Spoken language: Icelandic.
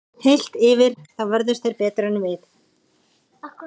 Heilt yfir þá vörðust þeir betur en við.